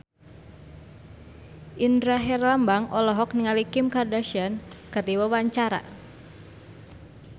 Indra Herlambang olohok ningali Kim Kardashian keur diwawancara